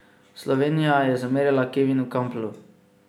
Slovenija je zamerila Kevinu Kamplu.